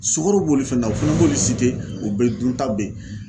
Sukoro b'olu fɛ na u fɛnɛ b'olu o bɛɛ dunta be ye.